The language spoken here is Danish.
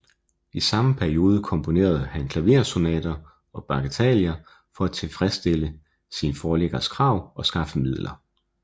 I samme periode komponerede han klaversonater og bagateller for at tilfredsstille sine forlæggeres krav og skaffe midler